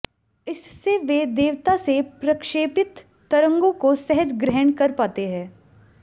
इससे वे देवता से प्रक्षेपित तरंगों को सहज ग्रहण कर पाते हैं